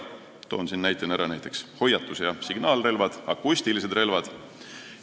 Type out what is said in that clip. Toon siin näiteks hoiatus- ja signaalrelvad, samuti akustilised relvad.